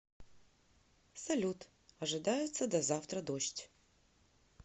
салют ожидается до завтра дождь